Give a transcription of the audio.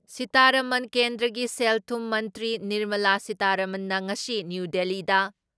ꯁꯤꯇꯥꯔꯥꯃꯟ ꯀꯦꯟꯗ꯭ꯔꯒꯤ ꯁꯦꯜ ꯊꯨꯝ ꯃꯟꯇ꯭ꯔꯤ ꯅꯤꯔꯃꯂꯥ ꯁꯤꯇꯥꯔꯥꯃꯟꯅ ꯉꯁꯤ ꯅ꯭ꯌꯨ ꯗꯤꯜꯂꯤꯗ